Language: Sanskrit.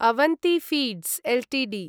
Avanti feeds Ltd